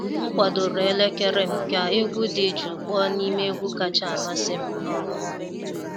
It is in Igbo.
M kwadoro elekere m ka egwu dị jụụ kpọọ n'ime egwu kacha amasị m. um